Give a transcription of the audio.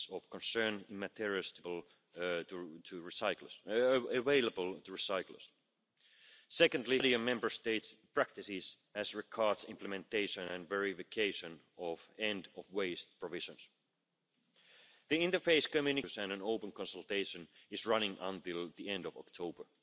Commission as well. My country, the United Kingdom, has done a lot in the war against plastics and micro plastics in particular, and since this is a problem that can only be tackled globally, I can only hope that national governments across Europe and European citizens continue to cooperate together.